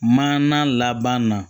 Maana laban na